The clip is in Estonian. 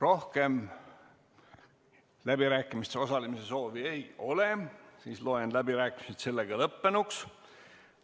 Rohkem läbirääkimistel osalemise soovi ei ole, seega loen läbirääkimised lõppenuks.